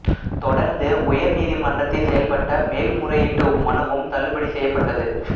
தொடர்ந்து உயர் நீதிமன்றத்தில் செய்யப்பட்ட மேல் முறையீட்டு மனுவும் தள்ளுபடி செய்யப்பட்டது